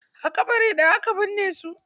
A ƙabari ɗaya aka binne su.